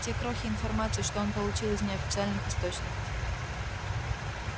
те крохи информации что он получил из неофициальных источников